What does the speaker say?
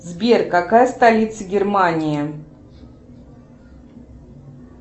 сбер какая столица германии